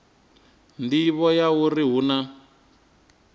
nḓivho ya uri hu na